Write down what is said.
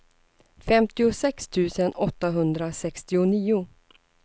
femtiosex tusen åttahundrasextionio